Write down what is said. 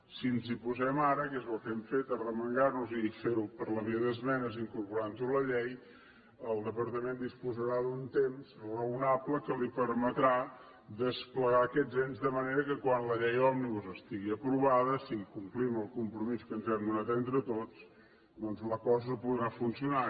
si ens hi posem ara que és el que hem fet arremangar nos i fer ho per la via d’esmenes incorporant ho a la llei el departament disposarà d’un temps raonable que li permetrà desplegar aquests ens de manera que quan la llei òmnibus estigui aprovada si complim el compromís que ens hem donat entre tots doncs la cosa podrà funcionar